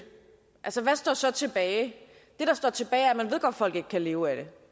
altså hvad står så tilbage det der står tilbage er at man godt at folk ikke kan leve af det